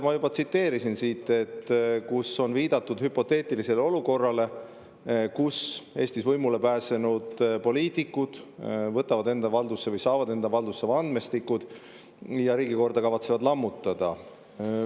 Ma juba tsiteerisin, kus on viidatud hüpoteetilisele olukorrale, kus Eestis võimule pääsenud poliitikud võtavad enda valdusse või saavad enda valdusse andmestikud ja kavatsevad riigikorda lammutada.